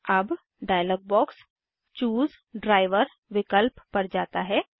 अब dialogue box choose driver विकल्प पर जाता है